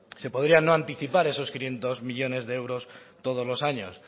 se podría no anticipar esos quinientos millónes de euros todos los años